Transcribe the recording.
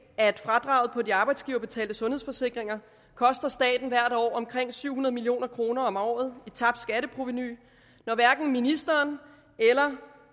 at fradraget på de arbejdsgiverbetalte sundhedsforsikringer koster staten omkring syv hundrede million kroner om året i tabt skatteprovenu når hverken ministeren eller